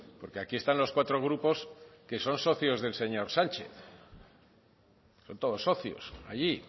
porque aquí están los cuatro grupos que son socios del señor sánchez son todos socios allí